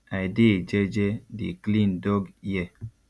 i dey jeje dey clean dog ear